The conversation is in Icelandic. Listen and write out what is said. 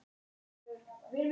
Það hefði flykkst til